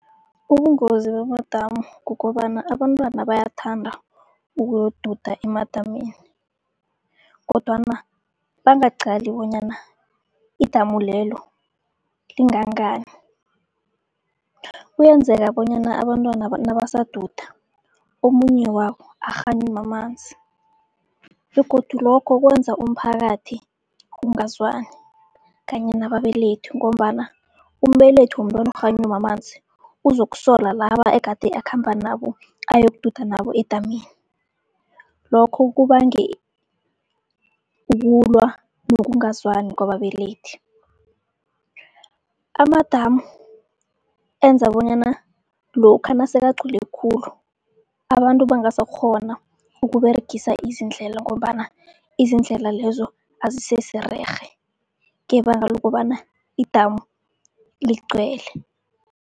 Ubungozi bamadamu kukobana abantwana bayathanda ukuyoduda emadamini, kodwana bangaqali bonyana idamu lelo lingangani. Kuyenzeka bonyana abantwanaba nabasaduda, omunye wabo akghanywe mamanzi begodu lokho kwenza umphakathi ungazwani kanye nababelethi, ngombana umbelethi womntwana okghanywe mamanzi uzokusola laba egade akhamba nabo, ayokududa nabo edamini. Lokho kubange ukulwa nokungazwani kwababelethi. Amadamu enza bonyana lokha nasekagcwele khulu, abantu bangasakghona ukUberegisa izindlela ngombana izindlela lezo azisesererhe ngebanga lokobana idamu ligcwele.